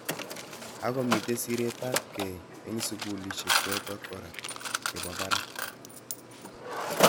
Ako mitei siret ap kei eng sukulishek chotok kora che po barak.